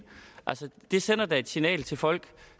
altså det sender da et signal til folk